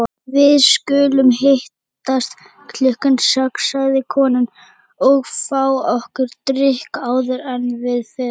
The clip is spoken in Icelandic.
Við skulum hittast klukkan sex, sagði konan, og fá okkur drykk áður en við förum.